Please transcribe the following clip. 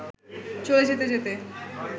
চলে যেতে যেতে